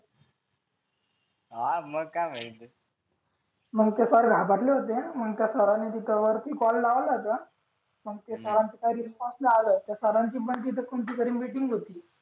हा मग काय म्हटले मग ते सर घाबरले होते मग सरांनी तिथे वर कॉल लावला होता मग ते त्या सरांचा रिस्पॉन्स नाही आलं त्या सरांची पण कोणती तरी मीटिंग होती